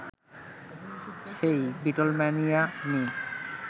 সেই বিটলম্যানিয়া নিয়ে